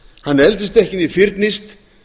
hann eldist ekki né fyrnist